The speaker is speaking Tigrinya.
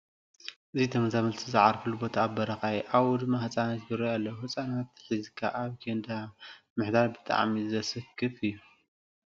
እዚ ተመዛበልቲ ዝዓረፉሉ ቦታ ኣብ በረኻ እዩ፡፡ ኣብኡ ድማ ህፃናት ይርአዩ ኣለዉ፡፡ ህፃናት ሒዝካ ኣብ ኬንዳ ምሕዳር ብጣዕሚ ዘስክፍ እዩ፡፡